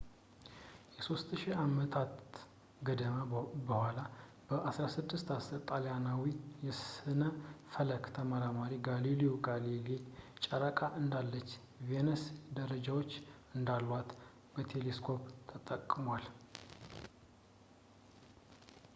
ከሦስት ሺህ ዓመታት ገደማ በኋላ በ 1610 ጣሊያናዊው የሥነ ፈለክ ተመራማሪ ጋሊልዮ ጋሊሌይ ጨረቃ እንዳለችው ቬነስ ደረጃዎች እንዳሏት በቴሌስኮፕ ተጠቅሟል